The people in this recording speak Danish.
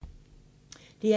DR1